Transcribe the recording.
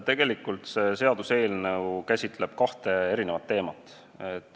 Tegelikult käsitleb see seaduseelnõu kahte teemat.